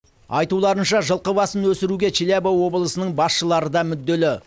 айтуларынша жылқы басын өсіруге челябі облысының басшылары да мүдделі